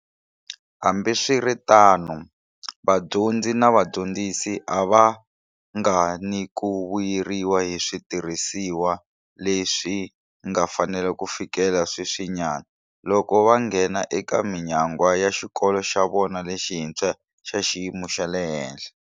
Hambiswiritano, vadyondzi na vadyondzisi a va vanga ni ku vuyeriwa hi switirhisiwa leswi nga fanela ku fikela sweswinyana, loko va nghena eka minyangwa ya xikolo xa vona lexintshwa, xa xiyimo xa le henhla.